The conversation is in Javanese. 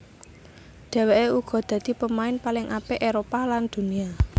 Dhéwéké uga dadi pemain paling apik Éropah lan Dunia